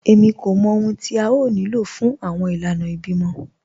Èmí kò mọ̀ ọ̀hun tí a yóò ní ló fún awọn ìlànà ìbímọ